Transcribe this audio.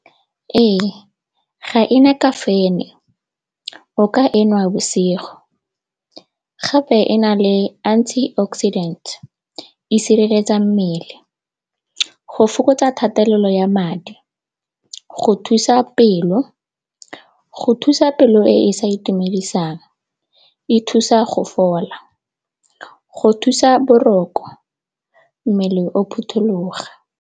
Ee, ga ena kafaene o ka enwa bosigo gape e na le antioxidant e sireletsa mmele. Go fokotsa kgatelelo ya madi, go thusa pelo, go thusa pelo e e sa itumedisang e thusa go fola, go thusa boroko mmele o phuthuloga.